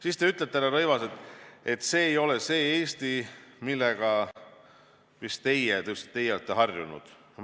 Siis te ütlete, härra Rõivas, et see ei ole see Eesti, millega just teie olete harjunud.